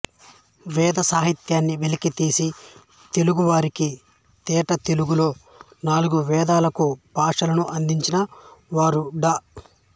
వేద సాహిత్యాన్ని వెలికి తీసి తెలుగు వారికి తేటతెలుగులో నాలుగు వేదాలకు భాష్యాలను అందించిన వారు డా